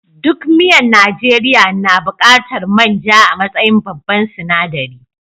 Duk miyan Najeriya na buƙatar man ja a matsayin babban sinaɗari.